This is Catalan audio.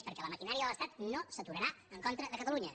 perquè la maquinària de l’estat no s’aturarà en contra de catalunya